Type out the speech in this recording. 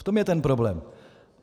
V tom je ten problém.